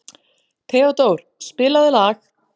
Theódór, spilaðu lag.